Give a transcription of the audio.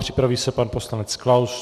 Připraví se pan poslanec Klaus.